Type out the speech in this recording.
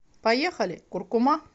поехали куркума